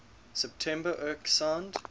september erc signed